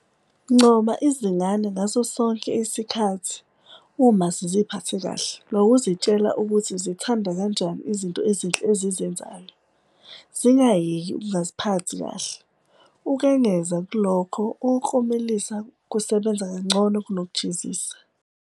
Ncoma izingane ngaso sonke isikhathi uma ziziphathe kahle ngokuzitshela ukuthi uzithanda kanjani izinto ezinhle ezizenzayo, zingayeka ukungaziphathi kahle. Ukengeza kulokho, ukuklomelisa kusebenza kangcono kunokujezisa.